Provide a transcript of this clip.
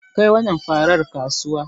Kai wannan farar kasuwa.